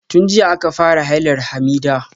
Tun jiya aka fara hailar Hamidah.